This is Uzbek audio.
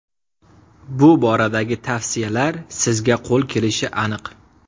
Bu boradagi tavsiyalar sizga qo‘l kelishi aniq.